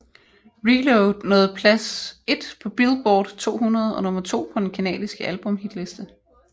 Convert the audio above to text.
ReLoad nåede plads et på Billboard 200 og nummer to på den canadiske albumhitliste